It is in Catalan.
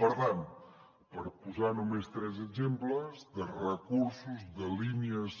per tant per posar només tres exemples de recursos de línies